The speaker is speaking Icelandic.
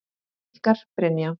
Ykkar Brynja.